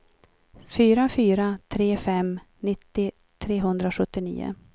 fyra fyra tre fem nittio trehundrasjuttionio